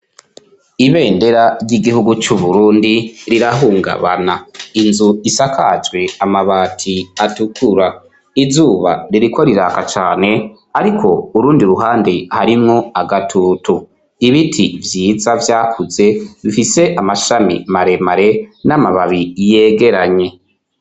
Ibendera ry'igihugu c'Uburundi rirahungabana. Inzu isakajwe amabati atukura, izuba ririko riraka cane ariko urundi ruhande harimwo agatutu ibiti vyiza vyakuze bifise amashami maremare n'amababi yegeranye.